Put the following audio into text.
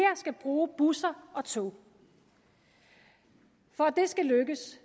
skal bruge busser og tog for at det skal lykkes